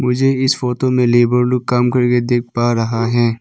मुझे इस फोटो में लेबर लोग काम करके देख पा रहा है।